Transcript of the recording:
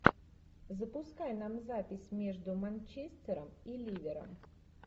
запускай нам запись между манчестером и ливером